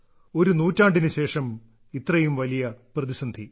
ഒരു നൂറ്റാണ്ടിനുശേഷം ഇത്രയും വലിയ പ്രതിസന്ധി